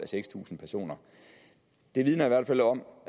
seks tusind personer det vidner i hvert fald om